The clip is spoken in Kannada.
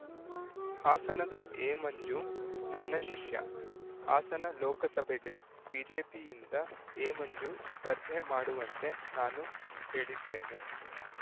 ಹಾಸನದ ಎಮಂಜು ನನ್ನ ಶಿಷ್ಯ ಹಾಸನ ಲೋಕಸಭೆಗೆ ಬಿಜೆಪಿಯಿಂದ ಎಮಂಜು ಸ್ಪರ್ಧೆ ಮಾಡುವಂತೆ ನಾನು ಹೇಳಿದ್ದೇನೆ